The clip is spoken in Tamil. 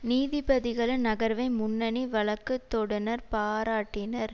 நீதிபதிகளின் நகர்வை முன்னணி வழக்குதொடுனர் பாராட்டினார்